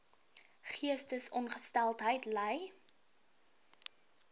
geestesongesteldheid ly